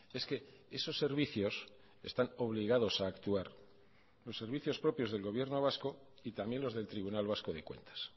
es que esos servicios están obligados a actuar los servicios propios del gobierno vasco y también los del tribunal vasco de cuentas